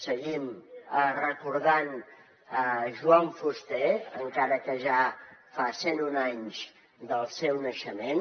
seguim recordant joan fuster encara que ja fa cent un anys del seu naixement